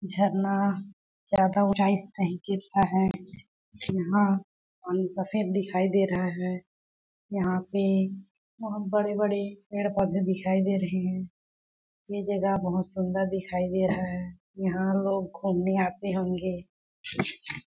झरना ज्यादा ऊंचाई से गिर रहा है यहाँ पानी सफ़ेद दिखाई दे रहा है यहाँ पे बहोत बड़े-बड़े पेड़-पौधे दिखाई दे रहे है ये जगह बहोत सुन्दर दिखाई दे रहा है यहाँ लोग घूमने आते होंगे।